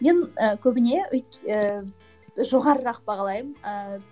мен і көбіне ііі жоғарырақ бағалаймын ііі